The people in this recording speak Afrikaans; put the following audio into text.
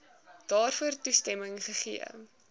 daarvoor toestemming gegee